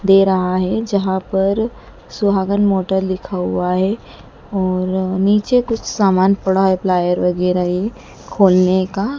दे रहा है जहां पर सुहागन मोटर लिखा हुआ है और नीचे कुछ सामान पड़ा है प्लायर वैगैरा ये खोलने का।